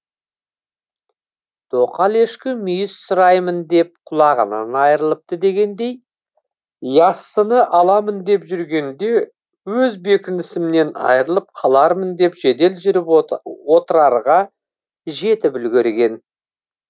тоқал ешкі мүйіз сұраймын деп құлағынан айрылыпты дегендей яссыны аламын деп жүргенде өз бекінісімнен айрылып қалармын деп жедел жүріп отрарға жетіп үлгерген